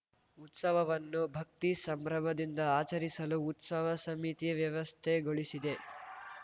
ಉತ್ಸವವನ್ನು ಭಕ್ತಿ ಸಂಭ್ರಮದಿಂದ ಆಚರಿಸಲು ಉತ್ಸವ ಸಮಿತಿ ವ್ಯವಸ್ಥೆಗೊಳಿಸಿದೆ